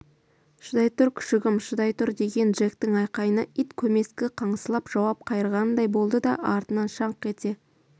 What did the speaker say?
шыдай тұр күшігім шыдай тұр деген джектің айқайына ит көмескі қыңсылап жауап қайырғандай болды да артынан шаңқ ете